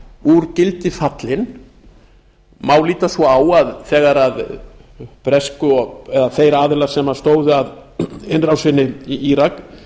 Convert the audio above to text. úr gildi fallin má líta svo á að þegar þeir aðilar sem skoðun að innrásinni í írak